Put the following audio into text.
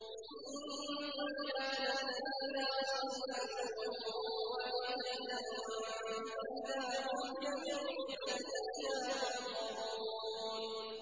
إِن كَانَتْ إِلَّا صَيْحَةً وَاحِدَةً فَإِذَا هُمْ جَمِيعٌ لَّدَيْنَا مُحْضَرُونَ